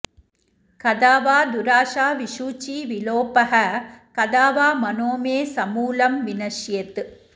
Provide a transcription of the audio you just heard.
कदा वा दुराशाविषूचीविलोपः कदा वा मनो मे समूलं विनश्येत्